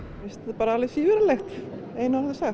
bara alveg svívirðilegt í einu orði sagt